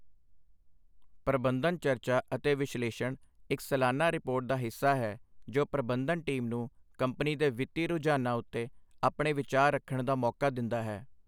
ਪ੍ਰਬੰਧਨ ਚਰਚਾ ਅਤੇ ਵਿਸ਼ਲੇਸ਼ਣ ਇੱਕ ਸਲਾਨਾ ਰਿਪੋਰਟ ਦਾ ਹਿੱਸਾ ਹੈ ਜੋ ਪ੍ਰਬੰਧਨ ਟੀਮ ਨੂੰ ਕੰਪਨੀ ਦੇ ਵਿੱਤੀ ਰੁਝਾਨਾਂ ਉੱਤੇ ਆਪਣੇ ਵਿਚਾਰ ਰੱਖਣ ਦਾ ਮੌਕਾ ਦਿੰਦਾ ਹੈ।